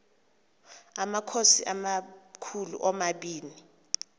amakhosi amakhulu omabini